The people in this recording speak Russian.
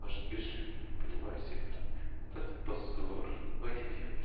аж бежит понимаете вот это позор ой ой